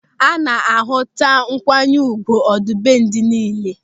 A na-ahụta nkwanye ùgwù ọdịbendị niile.